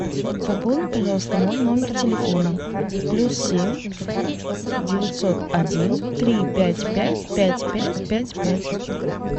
пополни пожалуйста мой номер телефона плюс семь девятьсот один три пять пять пять пять пять пять